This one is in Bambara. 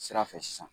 Sira fɛ sisan